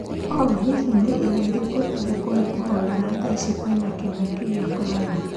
O hihi nì irio ĩrĩkũ ĩngekupa kuborera thaa ici kwĩna gĩkungi kĩa Corona